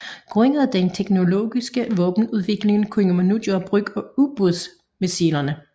Grundet den teknologiske våbenudvikling kunne man nu gøre brug af ubådsmisilerne